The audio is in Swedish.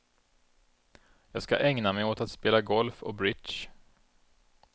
Jag ska ägna mig åt att spela golf och bridge!